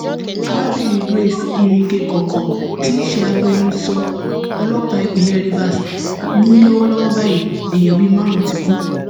arábìnrin grace iringekọkọ tí í ṣe agbẹnusọ ọlọpàá ìpínlẹ rivers ni lọwọlọwọ báyìí èèyàn bíi márùnún ti kú